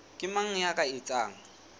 ke mang ya ka etsang